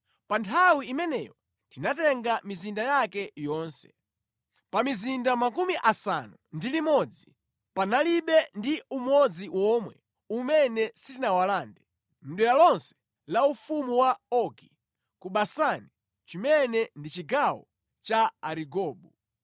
Pa nthawi imeneyo tinatenga mizinda yake yonse. Pa mizinda 60, panalibe ndi umodzi womwe umene sitinawalande, mʼdera lonse la ufumu wa Ogi ku Basani chimene ndi chigawo cha Arigobu.